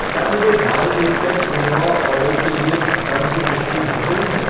क्या मेरे By Nature quinoa order के लिए भुगतान की पुष्टि हो गई है?